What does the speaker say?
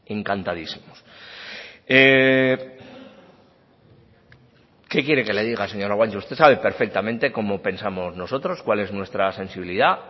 encantadísimos qué quiere que le diga señora guanche usted sabe perfectamente cómo pensamos nosotros cuál es nuestra sensibilidad